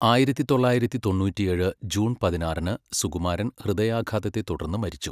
ആയിരത്തി തൊള്ളായിരത്തി തൊണ്ണൂറ്റിയേഴ് ജൂൺ പതിനാറിന് സുകുമാരൻ ഹൃദയാഘാതത്തെ തുടർന്ന് മരിച്ചു.